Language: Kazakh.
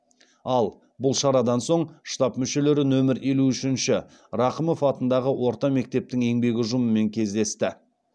ал бұл шарадан соң штаб мүшелері нөмір елу үшінші рақымов атындағы орта мектептің еңбек ұжымымен кездесті